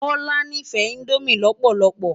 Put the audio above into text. Bola nífè indómi lòpòlòlòpò